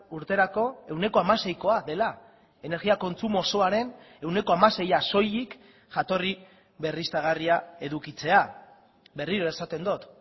urterako ehuneko hamaseikoa dela energia kontsumo osoaren ehuneko hamaseia soilik jatorri berriztagarria edukitzea berriro esaten dut